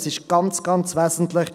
Das ist ganz, ganz wesentlich: